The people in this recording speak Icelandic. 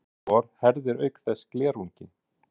Flúor herðir auk þess glerunginn.